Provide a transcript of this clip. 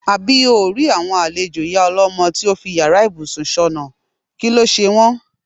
Àbí óò rí àwo̩n àlejò ìyá o̩ló̩mo̩ tó fi yàrá ìbùsùn s̩ò̩nà, kí ló s̩e wó̩n.